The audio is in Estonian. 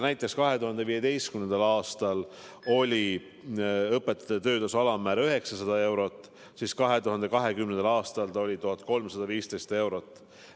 Näiteks 2015. aastal oli õpetajate töötasu alammäär 900 eurot, seevastu 2020. aastal oli see 1315 eurot.